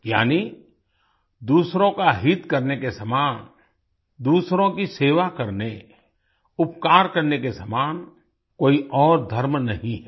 यानि दूसरों का हित करने के समान दूसरों की सेवा करने उपकार करने के समान कोई और धर्म नहीं है